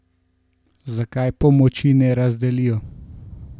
Zakaj pomoči ne razdelijo?